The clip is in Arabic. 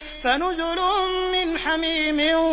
فَنُزُلٌ مِّنْ حَمِيمٍ